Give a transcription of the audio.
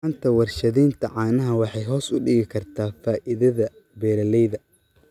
La'aanta warshadaynta caanaha waxay hoos u dhigi kartaa faa'iidada beeralayda.